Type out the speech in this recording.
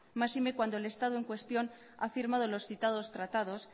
máxime cuando el estado en cuestión ha firmado los citados tratados